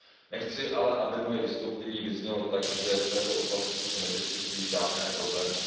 Nechci ale, aby moje vystoupení vyznělo tak, že v této oblasti se nevyskytují žádné problémy.